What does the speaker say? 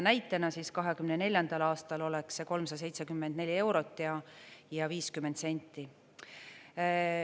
Näitena, 2024. aastal oleks see 374 eurot ja 50 senti.